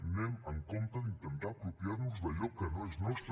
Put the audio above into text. anem amb compte d’intentar apropiar nos d’allò que no és nostre